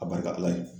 A barika ala ye